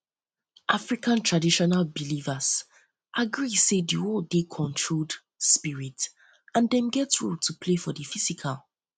african traditional belivers agree sey di world dey controlled spirit and dem get role to play for di physical